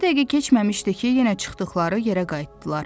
Bircə dəqiqə keçməmişdi ki, yenə çıxdıqları yerə qayıtdılar.